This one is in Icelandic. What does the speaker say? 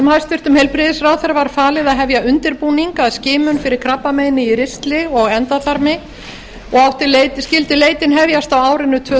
hæstvirtur heilbrigðisráðherra var falið að hefja undirbúning að skimun fyrir krabbameini í ristli og endaþarmi og skyldi leitin hefjast á árinu tvö